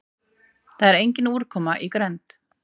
það er engin úrkoma í grennd